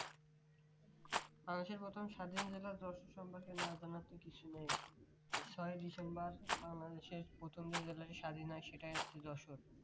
বাংলাদেশর প্রথম স্বাধীন জেলা যশোর সম্পর্কে না জানার তো কিছু নেই ছয় ডিসেম্বর বাংলাদেশ প্রথম যে জেলা স্বাধীন হয় সেটাই হচ্ছে যশোর